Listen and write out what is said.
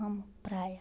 Amo praia.